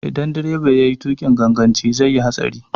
Idan direba yayi tuƙin ganganci zai yi hatsari.